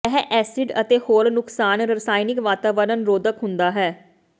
ਇਹ ਐਸਿਡ ਅਤੇ ਹੋਰ ਨੁਕਸਾਨ ਰਸਾਇਣਕ ਵਾਤਾਵਰਣ ਰੋਧਕ ਹੁੰਦਾ ਹੈ